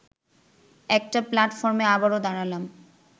একটা প্লাটফর্মে আবারও দাঁড়ালাম